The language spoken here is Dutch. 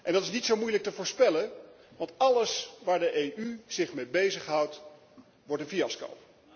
Dat is niet zo moeilijk te voorspellen want alles waar de EU zich mee bezighoudt, wordt een fiasco.